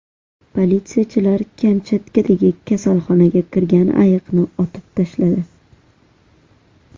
Politsiyachilar Kamchatkadagi kasalxonaga kirgan ayiqni otib tashladi.